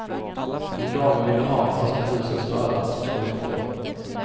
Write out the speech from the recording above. Om damen ville ha en flaska husets röda, så skulle hon få det.